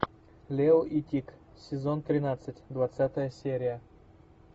лео и тик сезон тринадцать двадцатая серия